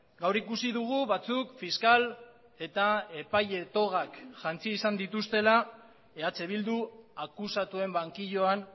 gaur ikusi dugu batzuk fiskal eta epaile togak jantzi izan dituztela eh bildu akusatuen bankiloan